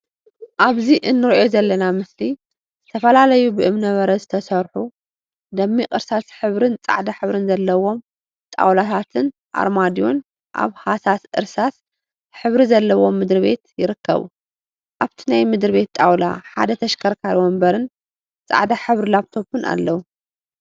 አብዚ እንሪኦ ዘለና ምስሊ ዝተፈላለዩ ብእምነበረድ ዝተሰርሑ ደሚቅ እርሳስ ሕብሪን ፃዕዳ ሕብሪን ዘለዎም ጣውላታትን አርማድዮን አብ ሃሳስ እርሳስ ሕብሪ ዘለዎ ምድሪ ቤት ይርከቡ፡፡ አብቲ ናይ ምድር ቤት ጣውላ ሓደ ተሽከርካሪ ወንበርን ፃዕዳ ሕብሪ ላብቶፕን አለው፡፡